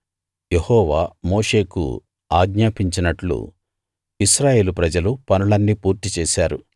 యెహోవా మోషేకు ఆజ్ఞాపించినట్లు ఇశ్రాయేలు ప్రజలు పనులన్నీ పూర్తిచేశారు